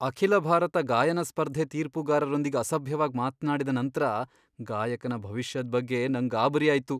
ಅಖಿಲ ಭಾರತ ಗಾಯನ ಸ್ಪರ್ಧೆ ತೀರ್ಪುಗಾರರೊಂದಿಗ್ ಅಸಭ್ಯವಾಗ್ ಮಾತ್ನಾಡಿದ ನಂತ್ರ ಗಾಯಕನ ಭವಿಷ್ಯದ್ ಬಗ್ಗೆ ನಂಗ್ ಗಾಬರಿ ಆಯ್ತು.